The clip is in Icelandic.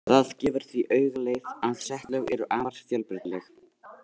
Það gefur því auga leið að setlög eru afar fjölbreytileg.